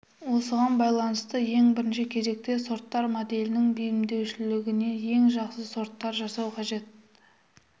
осыған байланысты ең бірінші кезекте сорттар моделінің бейімделушілігіне ең жақсы сорттар жасау қажет